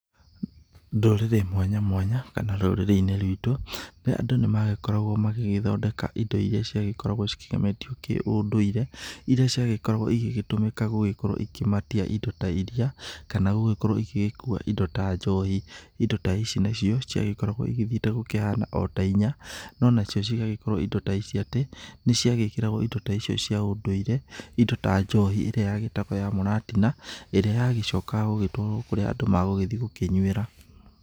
Ndũrĩrĩ mwanya mwanya kana rũrĩrĩ rwitũ, andũ nĩmagĩkoragwo magĩgĩthondeka indo iria cigĩkoragwo cikĩgemetio na kĩũndũire, iria ciagĩkoragwo igĩgĩtũmĩka gũgĩkorwo ikĩmatia indo ta iria, kana gũgĩkorwo igĩgĩkua indo ta njohi. Indo ta ici nĩcio ciagĩkoragwo ithiĩte gũkĩhana io ta inya, no gũgagĩkorwo atĩ indo ta ici nĩ ciagĩkĩragwo indo ta ici cia ũndũire, indo ta njohi ĩrĩa yagĩtagwo ya mũratina, ĩrĩa yagĩcokaga gũgĩtwarwo kũrĩa magũgĩthiĩ gũkĩnyuĩra.